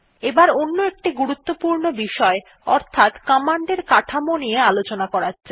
এবার অন্য একটি গুরুত্বপূর্ণ বিষয় অর্থাত কমান্ড এর কাঠামো নিয়ে আলোচনা করা যাক